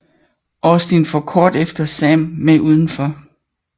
Austin får kort efter Sam med uden for